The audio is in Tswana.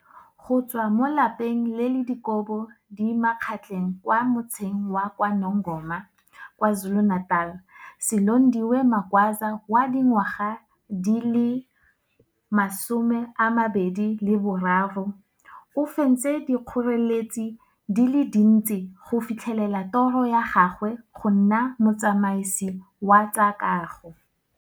Go tswa mo lapeng le le dikobo di magetleng kwa Motseng wa KwaNongoma, KwaZulu-Natal, Silondiwe Magwaza wa dingwaga di le 23, o fentse dikgoreletsi di le dintsi go fitlhelela toro ya gagwe go nna motsamasi wa tsa kago.